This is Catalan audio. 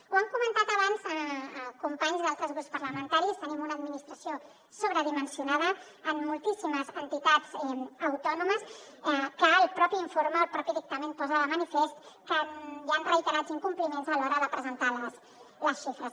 ho han comentat abans companys d’altres grups parlamentaris tenim una administració sobredimensionada amb moltíssimes entitats autònomes i el propi informe el propi dictamen posa de manifest que hi han reiterats incompliments a l’hora de presentar les xifres